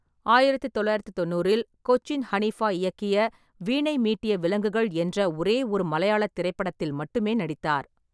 ஆயிரத்தி தொள்ளாயிரத்தி தொண்ணூறில் கொச்சின் ஹனிஃபா இயக்கிய வீணை மீட்டிய விலங்குகள் என்ற ஒரே ஒரு மலையாளத் திரைப்படத்தில் மட்டுமே நடித்தார்.